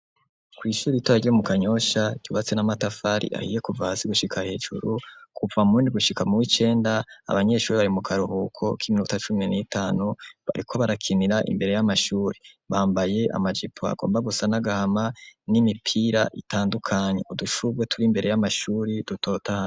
Kw'ishure iritoya ryo mu kanyosha, ryubatse n'amatafari ahiye kuva hasi gushika hejuru kuva mundi gushika mu w'icenda, abanyeshuri bari mu karuhuko k'iminuta cumi n'itanu bariko barakinira imbere y'amashuri bambaye amajipo agomba gusa nagahama n'imipira itandukanye udushurwe turi imbere y'amashuri dutotahaye.